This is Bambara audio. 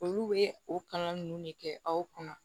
Olu bɛ o kalan ninnu de kɛ aw kunna